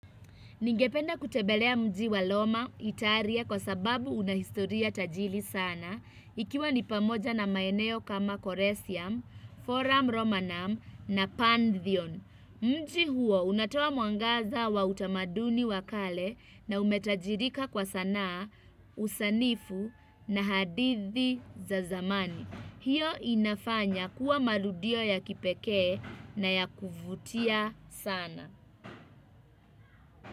Ningependa kutembelea mji wa roma italia kwa sababu unahistoria tajiri sana ikiwa ni pamoja na maeneo kama Koresiam, Forum Romanum na Pantheon. Mji huo unatoa mwangaza wa utamaduni wa kale na umetajirika kwa sanaa usanifu na hadithi za zamani. Hiyo inafanya kuwa maludio ya kipekee na ya kuvutia sana.